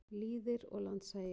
Lýðir og landshagir.